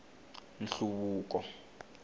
nhluvuko